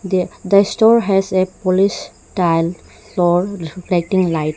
The store has a polish tile floor reflecting light.